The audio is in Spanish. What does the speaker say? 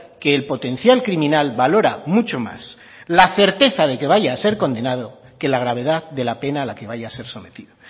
que el potencial criminal valora mucho más la certeza de que vaya a ser condenado que la gravedad de la pena a la que vaya a ser sometido